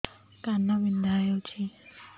କାନ ବିନ୍ଧା ହଉଛି